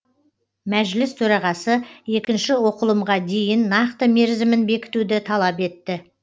мәжіліс төрағасы екінші оқылымға дейін нақты мерзімін бекітуді талап етті